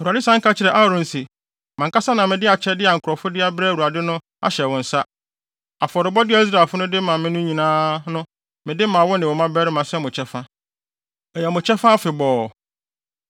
Awurade san ka kyerɛɛ Aaron se: “Mʼankasa na mede akyɛde a nkurɔfo de abrɛ Awurade no ahyɛ wo nsa; afɔrebɔde a Israelfo no de ma me no nyinaa no mede ma wo ne wo mmabarima sɛ mo kyɛfa; ɛyɛ mo kyɛfa afebɔɔ.